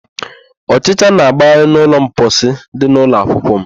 Ọchịcha na-agbagharị n'ụlọ mposi dị n'ụlọakwukwọ m.